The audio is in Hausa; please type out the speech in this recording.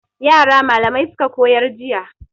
Yara malamai suka koyar jiya.